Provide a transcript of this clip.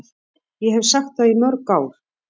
Ég hef sagt það í mörg ár.